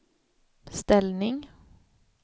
ställning